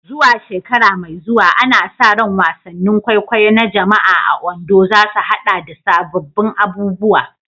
Zuwa shekara mai zuwa, ana sa ran wasannin kwaikwayo na jama'a a Ondo za su haɗa da sabbin abubuwa